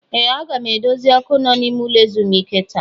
Ee! Aga m edozi ọkụ nọ n'ime ụlọ ezumike taa.